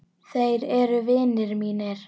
Þeir eru vinir mínir.